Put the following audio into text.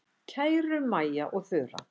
Kæru Maja og Þura.